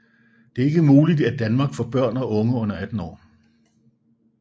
Det er ikke muligt i Danmark for børn og unge under 18 år